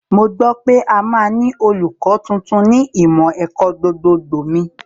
Mo gbọ́ pé a máa ní olùkọ́ tuntun ní ìmọ̀ ẹ̀kọ́ gbogbogbò mi